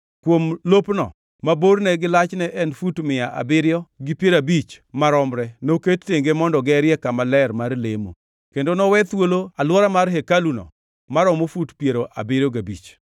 Kuom lopno, ma borne gi lachne en fut mia abiriyo gi piero abich maromre noket tenge mondo gerie kama ler mar lemo, kendo nowe thuolo alwora ma hekaluno maromo fut piero abiriyo gabich.